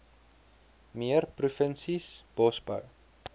meer provinsies bosbou